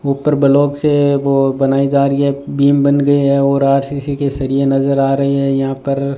ऊपर ब्लॉक से वो बनाई जा रही है बिम बन गई है और आर_सी_सी के सरिए नजर आ रहे हैं यहां पर --